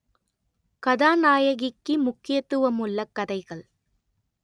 கதாநாயகிக்கு முக்கியத்துவம் உள்ள கதைகள்